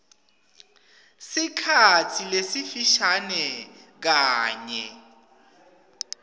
sikhatsi lesifishane kanye